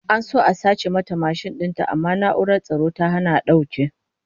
An so a sace mata mashin din ta amma na'urar tsaro ta hana a dauke